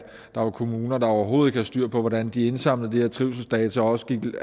der var kommuner der overhovedet ikke havde styr på hvordan de indsamlede de her trivselsdata og også gik